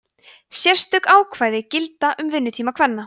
sérstök ákvæði gilda um vinnutíma kvenna